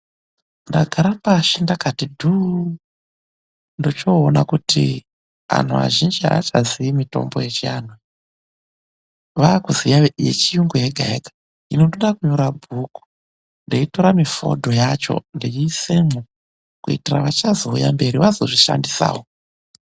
Ndagara pashi ndakati dhuuu, ndochoona kuti anhu vazhinji avachazivi mitombo yechianhu. Vave kuziya yechiyungu yega yega. Hino ndode kunyora bhuku ndeyitora mifodho yacho ndeyisemwo kuitira vachazouya mberi vazozvishandisawo.